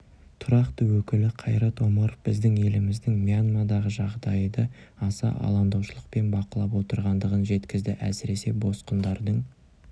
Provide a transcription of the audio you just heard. тұрақты өкілі қайрат омаров біздің еліміздің мьянмадағы жағдайды аса алаңдаушылықпен бақылап отырғандығын жеткізді әсіресе босқындардың